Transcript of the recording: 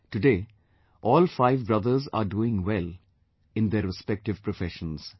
Today, all five brothers are doing well in their respective professions